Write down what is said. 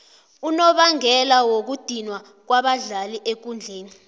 unobangela wokudinwa kwabadlali ekundleni